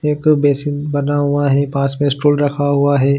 एक बेसिन बना हुआ है पास में स्टूल रखा हुआ है।